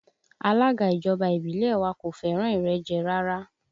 Alága ìjọba ìbílẹ̀ wa kò fẹ́ràn ìrẹ́jẹ rárá